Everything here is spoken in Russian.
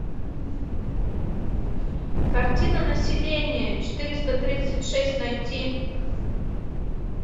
картина население четыреста тридцать шесть найти